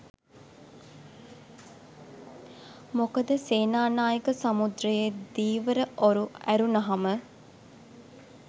මොකද සේනානායක සමුද්‍රයේ ධීවර ඔරු ඇරුනහම